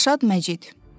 Rəşad Məcid.